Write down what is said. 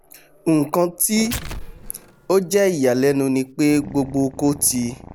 nkan tí ó jẹ́ ìyàlẹ́nu ní pé gbogbo oko tí